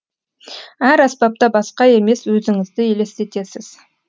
әр аспапта басқа емес өзіңізді елестетесіз